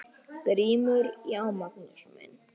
GRÍMUR: Já, Magnús minn!